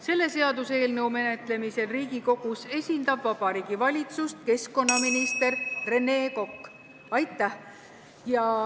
Selle seaduseelnõu menetlemisel Riigikogus esindab Vabariigi Valitsust keskkonnaminister Rene Kokk.